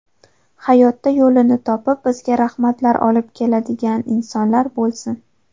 Hayotda yo‘lini topib, bizga rahmatlar olib keladigan insonlar bo‘lsin.